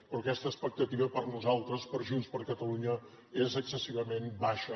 però aquesta expectativa per nosaltres per junts per catalunya és excessivament baixa